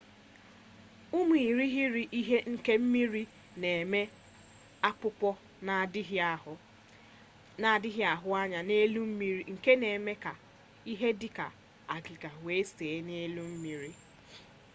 ụmụ irighiri ihe nke mmiri na-eme akpụkpọ na-adịghị ahụ anya n'elu mmiri nke na-eme ka ihe dị ka agịga wee see n'elu mmiri